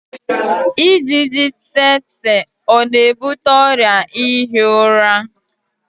ijiji tsetse ọ na-ebute ọrịa ihi ụra?